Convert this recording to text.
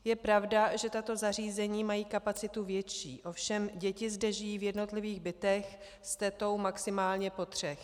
Je pravda, že tato zařízení mají kapacitu větší, ovšem děti zde žijí v jednotlivých bytech s tetou maximálně po třech.